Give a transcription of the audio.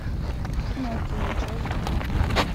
пиноккио часть два